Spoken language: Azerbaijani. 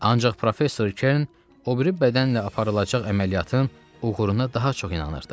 Ancaq professor Kern o biri bədənlə aparılacaq əməliyyatın uğuruna daha çox inanırdı.